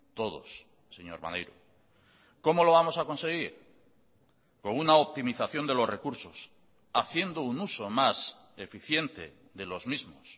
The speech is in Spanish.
todos señor maneiro cómo lo vamos a conseguir con una optimización de los recursos haciendo un uso más eficiente de los mismos